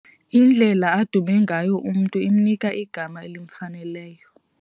Indlela adume ngayo umntu imnika igama elimfaneleyo.